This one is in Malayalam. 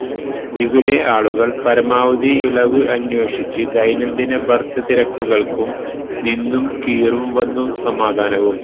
ഇവിടെ ആളുകൾ പരമാവധി ഇളവ് അന്വേഷിച്ച് ദൈനംദിന ബർത്ത് തിരക്കുകൾക്കും നിന്നും കീറും വന്നു സമാധാനവും